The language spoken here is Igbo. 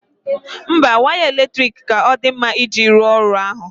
Mba, waya eletrik ka dị mma iji rụọ ọrụ ahụ